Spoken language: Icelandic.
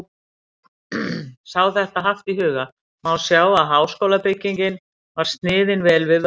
Sé þetta haft í huga, má sjá, að háskólabyggingin var sniðin vel við vöxt.